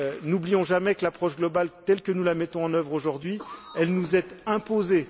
N'oublions jamais que l'approche globale, telle que nous la mettons en œuvre aujourd'hui, nous est imposée.